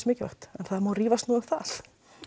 mikilvægt en það má nú rífast um það